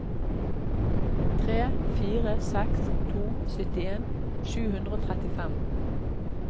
tre fire seks to syttien sju hundre og trettifem